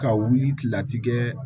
Ka wuli kilela ti kɛ